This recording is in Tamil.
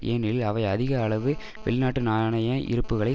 ஏனெனில் அவை அதிக அளவு வெளிநாட்டு நாணய இருப்புக்களை